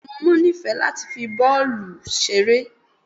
bẹẹni awọn ọmọ nifẹ latí fí bọọlu ṣeré